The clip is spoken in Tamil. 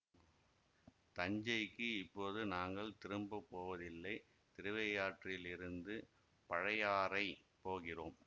தஞ்சைக்கு இப்போது நாங்கள் திரும்ப போவதில்லை திருவையாற்றிலிருந்து பழையாறை போகிறோம்